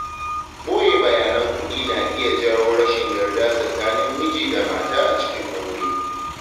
Ɓoye bayanan kuɗi na iya jawo rashin yarda tsakanin miji da mata a cikin aure.